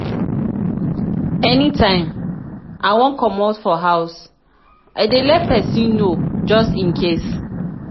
anytime i wan comot for house i dey let person know just in case